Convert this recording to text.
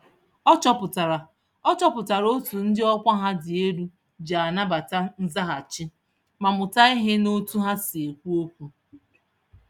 Ọ chọpụtara Ọ chọpụtara otú ndị ọkwa ha dị elu ji anabata nzaghachi, ma mụta ìhè n'otu ha si ekwu okwu